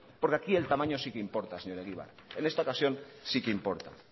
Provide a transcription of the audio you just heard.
porque aquí el tamaño sí que importa señor egibar en esta ocasión sí que importa